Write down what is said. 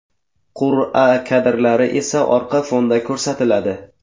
Qur’a kadrlari esa orqa fonda ko‘rsatiladi.